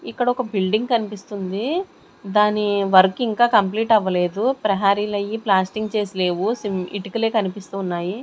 ఇక్కడ ఒక బిల్డింగ్ కనిపిస్తుంది. దాని వర్క్ ఇంకా కంప్లీట్ అవ్వలేదు. ప్రహరీలు అయ్యి ప్లాస్టింగ్ చేసి లేవు సిం ఇటికలే కనిపిస్తూ ఉన్నాయి.